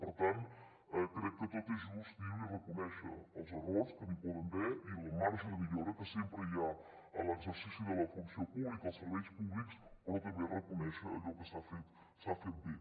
per tant crec que tot és just dir ho i reconèixer els errors que n’hi poden haver i el marge de millora que sempre hi ha en l’exercici de la funció pública als serveis públics però també reconèixer allò que s’ha fet bé